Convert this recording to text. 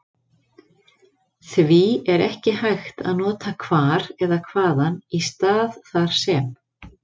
því er ekki hægt að nota hvar eða hvaðan í stað þar sem